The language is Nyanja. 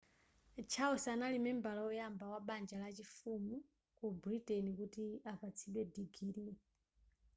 charles anali membala oyamba wa banja la chifumu ku britain kuti apatsidwe digiri